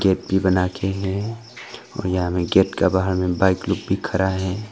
Gate भी बनाके हैं और यहां में गेट का बाहर में बाइक लोग भी खड़ा है।